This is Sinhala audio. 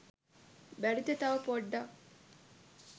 බැරිද තව පොඩ්ඩක්